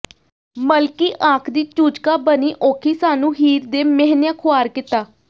ਮਲਕੀ ਆਖ਼ਦੀ ਚੂਚਕਾ ਬਣੀ ਔਖੀ ਸਾਨੂੰ ਹੀਰ ਦੇ ਮਿਹਨਿਆਂ ਖ਼ੁਆਰ ਕੀਤਾ